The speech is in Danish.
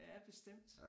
Ja bestemt